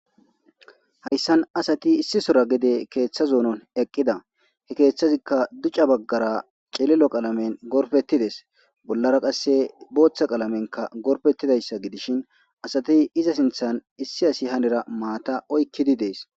hayssan asati issisora gede keeththazoonon eqqida he keeththazikka duca baggara celilo qalamen gorfettides bollara qasse booththa qalamenka gorpettidayssa gidishin asati iza sinthan issi asi hanera maata oykkidi dees